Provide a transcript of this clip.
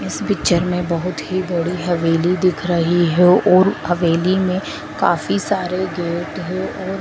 इस पिक्चर में बहोत ही बड़ी हवेली दिख रही है और हवेली में काफी सारे गेट हैं और--